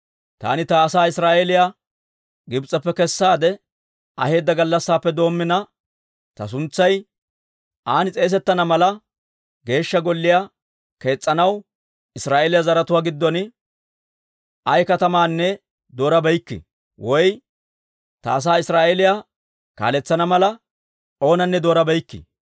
‹Taani ta asaa Israa'eeliyaa Gibs'eppe kessaade aheedda gallassaappe doommina, ta suntsay an s'eesettanawaa mala, Geeshsha Golliyaa kees's'anaw Israa'eeliyaa zaratuwaa giddon ayaa katamaanne doorabeykke; woy I ta asaa Israa'eeliyaa kaaletsana mala, oonanne doorabeykke.